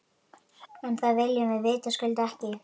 En það viljum við vitaskuld ekki.